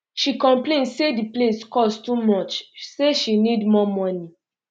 she complain say di place cost too much say she um need more money um